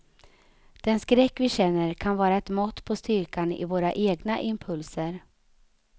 Den skräck vi känner kan vara ett mått på styrkan i våra egna impulser.